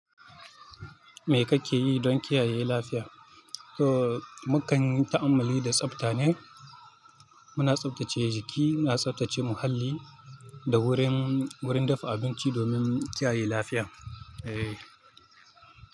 Me kake yi don kiyaye lafiya? To, mukan yi ta'ammali da tsafta ne. Muna tsaftace jiki, muna tsaftace muhalli da wurin, wurin dafa abinci domin kiyaye lafiya. Eh.